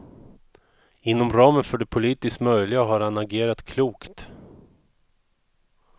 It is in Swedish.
Inom ramen för det politiskt möjliga har han agerat klokt.